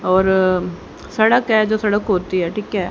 और सड़क है जो सड़क होती है ठीक है।